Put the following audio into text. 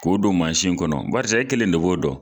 K'o don mansin in kɔnɔ barisa e kelen de b'o dɔn